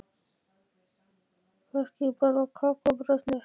Kannski bara kakó og brauðsneið, sagði hún.